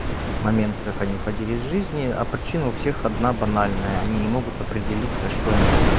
моменты как они уходили из жизни а причина у всех одна банальная они не могут определиться что они хотят